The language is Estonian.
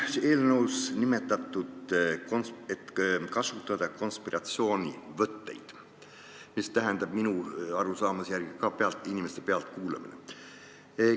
Eelnõus on nimetatud ka konspiratsioonivõtteid, mille hulka minu arusaamise järgi kuulub ka inimeste pealtkuulamine.